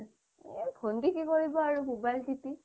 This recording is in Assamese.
এহ ভন্তিয়ে কি কৰিব আৰু মোবাইল টিপি